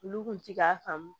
Olu kun ti k'a faamu